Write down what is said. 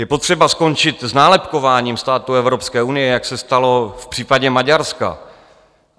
Je potřeba skončit s nálepkováním států Evropské unie, jak se stalo v případě Maďarska.